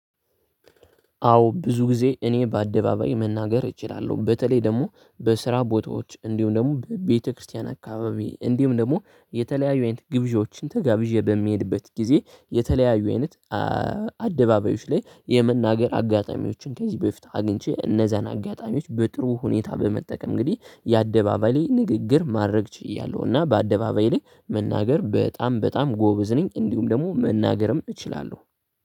አዎ ብዙ ጊዜ እኔ በአደባባይ መናገር እችላለሁ። በተለይ ደግሞ በስራ ቦታዎች እንዲሁም ደግሞ በቤተክርስቲያን አካባቢ እንዲሁም ደግሞ የተለያዩ አይነት ግብዣዎችን ተጋብዤ በምሄድበት ጊዜ የተለያዩ አይነት አደባባዮች ላይ የመናገር አጋጣሚዎችን ከዚህ በፊት አግኝቼ እነዛን አጋጣሚዎች በጥሩ ሁኔታ በመጠቀም እንግዲህ የአደባባይ ንግግር ማድረግ ችያለሁ፤ እና በአደባባይ ላይ መናገር በጣም በጣም ጎበዝ ነኝ እንዲሁም ደግሞ መናገርም እችላለሁ።